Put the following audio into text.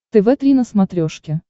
тв три на смотрешке